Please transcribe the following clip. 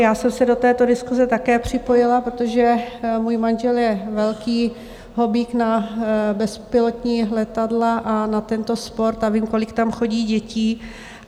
Já jsem se do této diskuse také připojila, protože můj manžel je velký hobík na bezpilotní letadla a na tento sport a vím, kolik tam chodí dětí.